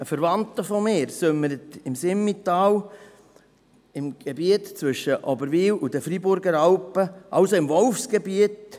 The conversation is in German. Ein Verwandter von mir sömmert im Simmental eine Herde von 2000 Schafen mit vier Herdenschutzhunden, im Gebiet zwischen Oberwil und den Freiburger Alpen, also im Wolfsgebiet.